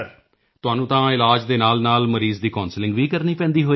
ਤੁਹਾਨੂੰ ਤਾਂ ਇਲਾਜ ਦੇ ਨਾਲਨਾਲ ਮਰੀਜ਼ ਦੀ Counsellingਵੀ ਕਰਨੀ ਪੈਂਦੀ ਹੋਵੇਗੀ